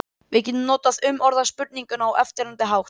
Við getum því umorðað spurninguna á eftirfarandi hátt: